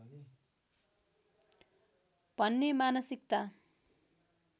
भन्ने मानसिकता